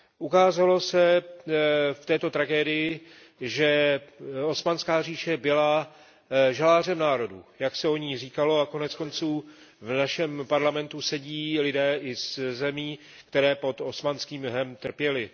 Ukázalo se v této tragédii, že Osmanská říše byla žalářem národů, jak se o ní říkalo, a nakonec v našem parlamentu sedí lidé i ze zemí, které pod osmanským jhem trpěly.